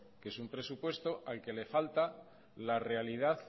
que es un presupuesto al que le falta la realidad